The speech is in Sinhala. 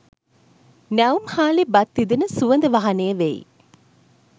නැවුම් හාලේ බත් ඉදෙන සුවඳ වහනය වෙයි.